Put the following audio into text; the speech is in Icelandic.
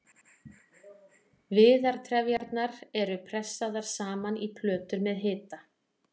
viðartrefjarnar eru pressaðar saman í plötur með hita